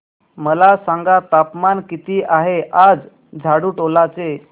मला सांगा तापमान किती आहे आज झाडुटोला चे